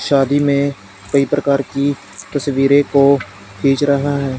शादी में कई प्रकार की तस्वीरें को खींच रहा है।